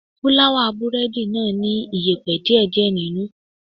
Fúláwà búrẹ́dì náà ní iyẹ̀pẹ̀ díè díè nínú.